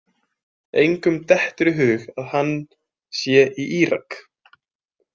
Engum dettur í hug að hann sé í Írak.